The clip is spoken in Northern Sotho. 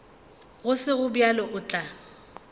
go sego bjalo o tla